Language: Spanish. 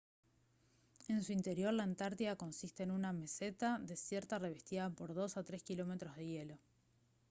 en su interior la antártida consiste en una meseta desierta revestida por 2 a 3 kilómetros de hielo